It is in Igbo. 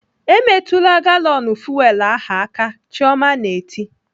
"Emetụla galọnụ fuwel ahụ aka!" Chioma na-eti